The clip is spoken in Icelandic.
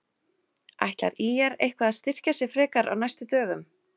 Ætlar ÍR eitthvað að styrkja sig frekar á næstu dögum?